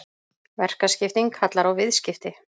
Verkaskipting kallar á viðskipti.